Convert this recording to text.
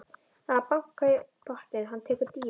Það er bankað í botninn, hann tekur dýfu.